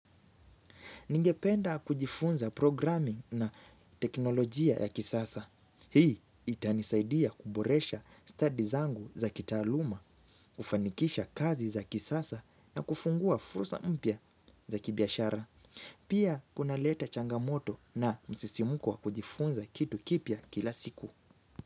Ningependa kujifunza programming na teknolojia ya kisasa. Hii itanisaidia kuboresha stadi zangu za kitaaluma, kufanikisha kazi za kisasa na kufungua fursa mpya za kibiashara. Pia kunaleta changamoto na msisimko wa kujifunza kitu kipya kila siku.